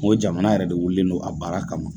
N ko jamana yɛrɛ de wililen don a baara kama